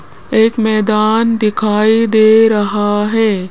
एक मैदान दिखाई दे रहा है।